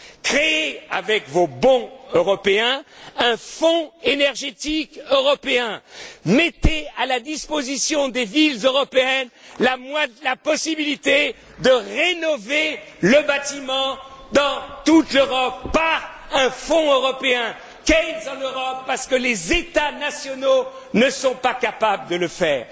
Créez avec vos bons européens un fonds énergétique européen, donnez aux villes européennes la possibilité de rénover le bâtiment dans toute l'Europe, par un fonds européen Keynes en Europe, parce que les États nationaux ne sont pas capables de le faire.